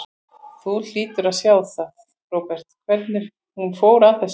Þú hlýtur að sjá það, Róbert, hvernig hún fór að þessu.